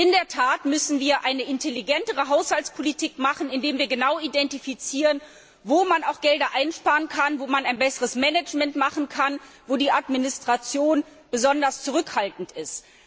In der Tat müssen wir eine intelligentere Haushaltspolitik betreiben, indem wir genau identifizieren, wo man Gelder einsparen kann, wo das Management verbessert werden kann, wo die Administration besonders zurückhaltend ist.